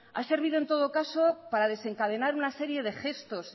ha servido en todo caso para desencadenar una serie de gestos